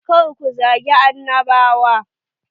Kar ku zagi annabawa.